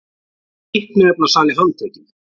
Fíkniefnasali handtekinn